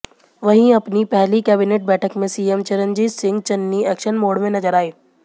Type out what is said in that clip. वहीं अपनी पहली कैबिनेट बैठक में CM Charanjit Singh Channi action mode में नजर आए